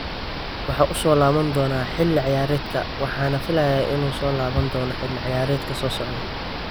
Waxa uu soo laaban doonaa xilli ciyaareedkan, waxaana filayaa inuu soo laaban doono xilli ciyaareedka soo socda.